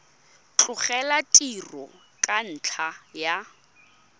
tlogela tiro ka ntlha ya